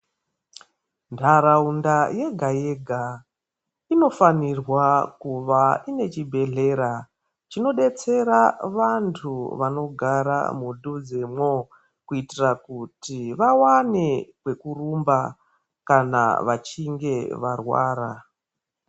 Ndaraunda yega yega inofanirwa kuva inechibhehlera chinodetsera vantu vanogara mudhuze mwo kuitira kuti vawane kwekurumba kana vachinge varwara